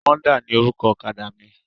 Honda ni orúkọ ọ̀kadà mi.